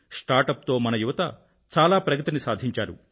startup తో మన యువత చాలా ప్రగతిని సాధించారు